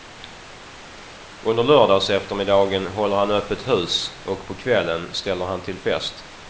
Under lördagseftermiddagen håller han öppet hus och på kvällen ställer han till fest.